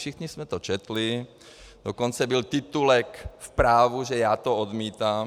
Všichni jsme to četli, dokonce byl titulek v Právu, že já to odmítám.